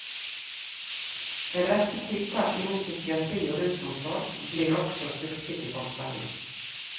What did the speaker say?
En rekke tiltak innen psykiatri og rusomsorg blir også styrket i forslaget.